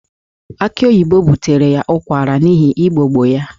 Aki oyibo butere ya ụkwara n'ihi igbogbo ya